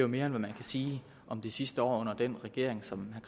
mere end hvad man kan sige om det sidste år under den regering som